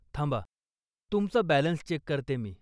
थांबा, तुमचा balance check करते मी.